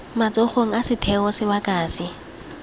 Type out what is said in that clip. matsogong a setheo sebaka se